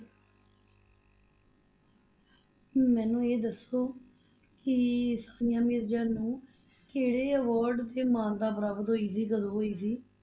ਮੈਨੂੰ ਇਹ ਦੱਸੋ ਕਿ ਸਾਨੀਆ ਮਿਰਜ਼ਾ ਨੂੰ ਕਿਹੜੇ award ਤੇ ਮਾਨਤਾ ਪ੍ਰਾਪਤ ਹੋਈ ਸੀ, ਕਦੋਂ ਹੋਈ ਸੀ?